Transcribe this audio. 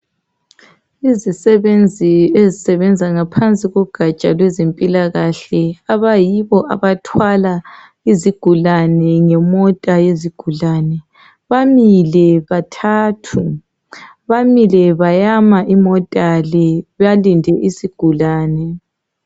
Izisebenzi ezisebenza ngaphansi kogaja lwezempilakahle abayibo abathwala izigulani ngemota yezigulani bamile bathathu bamile bayama imota le balinde isigulani